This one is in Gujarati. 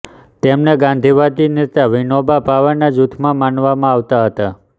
તેમને ગાંધીવાદી નેતા વિનોબા ભાવેના જૂથના માનવામાં આવતા હતા